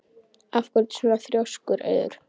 Af hverju ertu svona þrjóskur, Auður?